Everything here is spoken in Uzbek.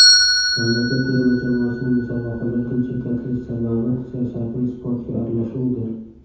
Mamlakat terma jamoasining musobaqalardan chetlatilish sababi siyosatning sportga aralashuvidir.